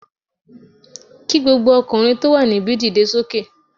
Kí gbogbo ọkùnrin tó wà níbi dìde sókè